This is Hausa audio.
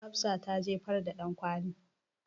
Hafsa ta jefar da ɗankwali.